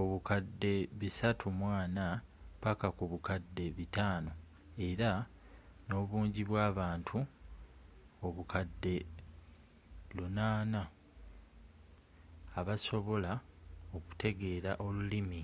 obukadde 340 paka ku bukadde 500 era nobungi bw'abantu obukadde 800 abasobola okutegeela olulimi